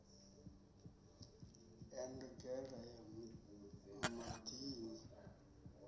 ya ndugelo ya maḓini na